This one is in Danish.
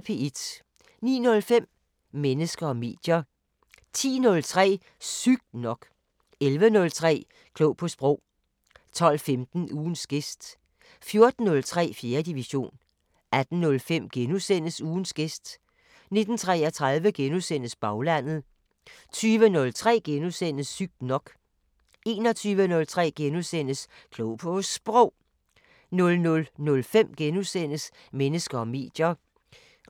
09:05: Mennesker og medier 10:03: Sygt nok 11:03: Klog på Sprog 12:15: Ugens gæst 14:03: 4. division 18:05: Ugens gæst * 19:33: Baglandet * 20:03: Sygt nok * 21:03: Klog på Sprog * 00:05: Mennesker og medier *